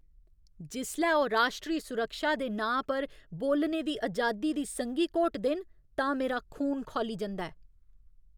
जिसलै ओह् राश्ट्री सुरक्षा दे नांऽ पर बोलने दी अजादी दी संघी घोटदे न तां मेरा खून खौली जंदा ऐ।